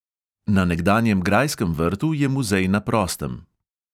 Na nekdanjem grajskem vrtu je muzej na prostem.